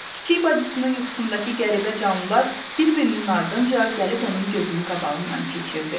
Kiçik bacısının yuxusundakı qəribə canlılar bir-birinin ardınca gəlib onun gözünün qabağından keçirdi.